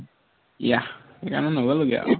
yeah সেইকাৰণে নগলোগে আৰু